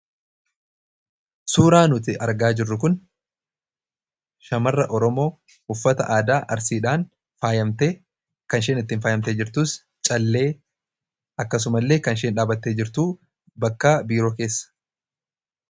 Suuraan nuti argaa jirru kun shamara oromoo uffata aadaa arsiidhaan faayamtee kan isheen ittiin faayamtee jirtus callee akkasumallee kan isheen dhaabbattee jirtu bakka biiroo keessa.